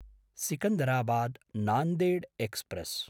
सिकन्दराबाद्–नान्देड् express